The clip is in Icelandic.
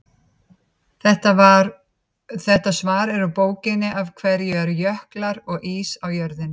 þetta svar er úr bókinni af hverju eru jöklar og ís á jörðinni